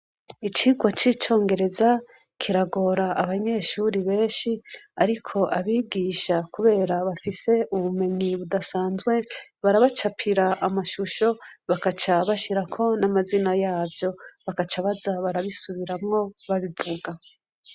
Icigwa cicongereza kiragora abanyeshure benshi ariko abigisha kubera bafise ubimenyi budasanzwe barabacapira amashusho bagaca bashirako n’amazina yavyo bagaca babisubiramwo babivuga.